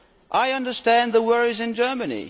I understand the worries in Germany.